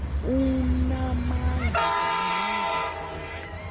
unaamandla ubulala uthobeka